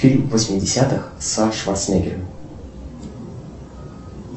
фильм восьмидесятых со шварценеггером